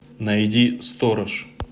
найди сторож